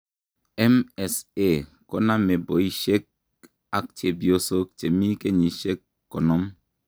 MSA koname boishek ak chepyosok chemi kenyishekab konom.